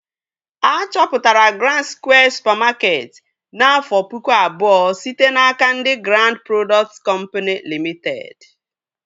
A chọpụtara Grand Skwịe supamakeetị n'afọ pụkụ abụọ site n'aka ndị Grand prodọkt kọmpini Limiteed